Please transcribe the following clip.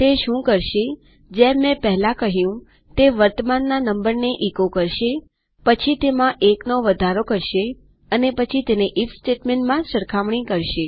તે શું કરશેજેમ મેં પહેલા કહ્યુંતે વર્તમાનના નંબરને એચો કરશેપછી તેમાં ૧ નો વધારો કરશે અને પછી તે આઇએફ સ્ટેટમેન્ટમાં સરખામણી કરશે